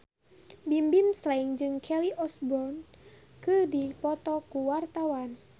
Bimbim Slank jeung Kelly Osbourne keur dipoto ku wartawan